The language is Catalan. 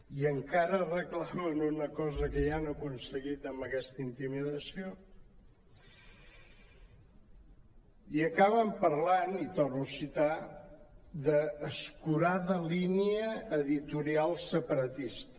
i encara reclamen una cosa que ja han aconseguit amb aquesta intimidació i acaben parlant i torno a citar d’ escurada línia editorial separatista